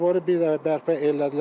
Zaboru bir dəfə bərpa elədilər.